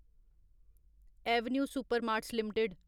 Avenue Supermarts limited